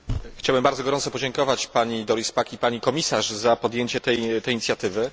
Chciałem bardzo gorąco podziękować pani Doris Pack i pani Komisarz za podjęcie tej inicjatywy.